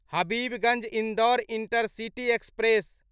Habibganj Indore intercity express